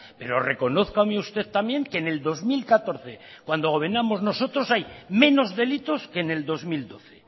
pero reconózcame usted también que en el dos mil catorce cuando gobernábamos nosotros hay menos delitos que en el dos mil doce